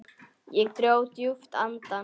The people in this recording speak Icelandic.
Ég dró djúpt inn andann.